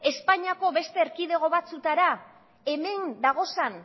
espainiako beste erkidego batzuetara hemen dagozan